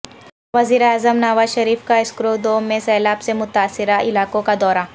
وزیراعظم نواز شریف کا اسکردومیں سیلاب سے متاثرہ علاقوں کا دورہ